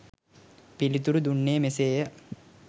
පිළිතුරු දුන්නේ මෙසේය.